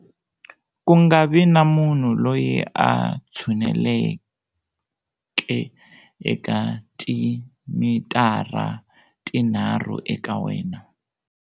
Kungavi na munhu loyi a tshunelaka eka timitara tinharhu eka wena.